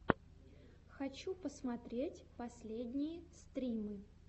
хочу посмотреть последние стримы